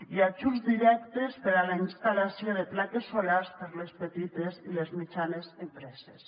i ajuts directes per a la instal·lació de plaques solars per a les petites i les mitjanes empreses